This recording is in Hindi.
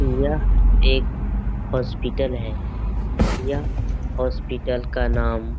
यह एक हॉस्पिटल है यह हॉस्पिटल का नाम --